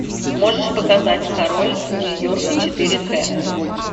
можешь показать король нью йорка четыре к